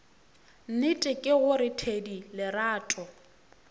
nnete ke gore thedi lerato